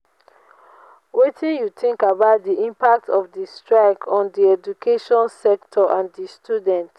wetin you think about di impact of di strike on di education sector and di students?